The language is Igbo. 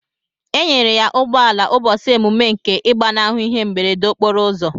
Enyere ya ugbọala ubosi emume nke igbanahu ihe mberede okporo ụzọ.